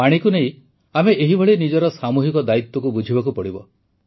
ପାଣିକୁ ନେଇ ଆମେ ଏହିଭଳି ନିଜର ସାମୂହିକ ଦାୟିତ୍ୱକୁ ବୁଝିବାକୁ ପଡ଼ିବ